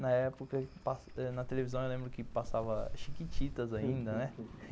Na época, na televisão eu lembro que passava chiquititas ainda, né?